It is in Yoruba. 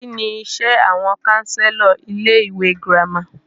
Kínní iṣé àwọn counselor ilé ìwé gírámà?